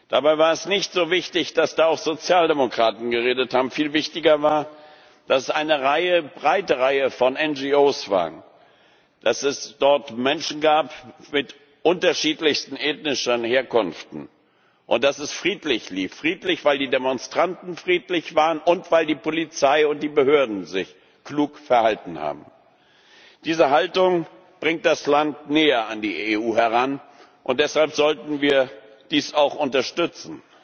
Dabei war es nicht so wichtig, dass da auch Sozialdemokraten geredet haben. Viel wichtiger war, dass dort eine breite Reihe von NGO waren, dass es dort Menschen gab mit unterschiedlichster ethnischer Herkunft und dass es friedlich lief. Friedlich, weil die Demonstranten friedlich waren und weil die Polizei und die Behörden sich klug verhalten haben. Diese Haltung bringt das Land näher an die EU heran, und deshalb sollten wir dies auch unterstützen.